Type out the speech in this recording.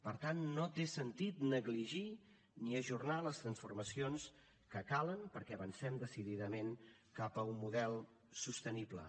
per tant no té sentit negligir ni ajornar les transformacions que calen perquè avancem decididament cap a un model sostenible